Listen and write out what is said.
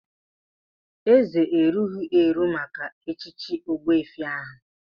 Eze erughị eru maka echichi ogbuefi ahu.